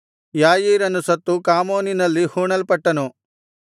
ಯಾಯೀರನು ಸತ್ತು ಕಾಮೋನಿನಲ್ಲಿ ಹೂಣಲ್ಪಟ್ಟನು